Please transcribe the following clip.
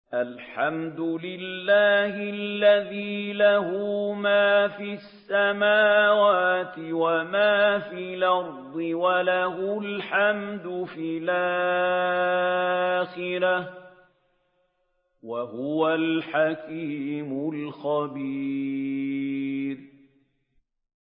الْحَمْدُ لِلَّهِ الَّذِي لَهُ مَا فِي السَّمَاوَاتِ وَمَا فِي الْأَرْضِ وَلَهُ الْحَمْدُ فِي الْآخِرَةِ ۚ وَهُوَ الْحَكِيمُ الْخَبِيرُ